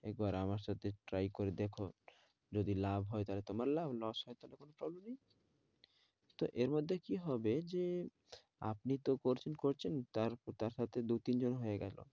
একবার আমার সাথে try করে দেখুন যদি লাভ হয় তাহলে তোমার লাভ, loss হলে হবে তো কি হবে যে আপনি তো করছে করছেন তার সাথে দু-তিন জন হয় গেছে,